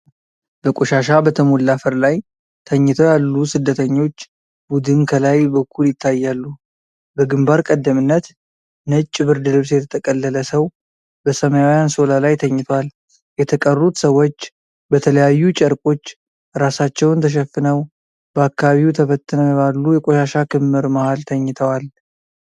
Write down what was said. በቆሻሻ በተሞላ አፈር ላይ ተኝተው ያሉ ስደተኞች ቡድን ከላይ በኩል ይታያሉ። በግንባር ቀደምትነት ነጭ ብርድ ልብስ የተጠቀለለ ሰው በሰማያዊ አንሶላ ላይ ተኝቷል። የተቀሩት ሰዎች በተለያዩ ጨርቆች ራሳቸውን ተሸፍነው በአካባቢው ተበትነው ባሉ የቆሻሻ ክምር መሃል ተኝተዋል።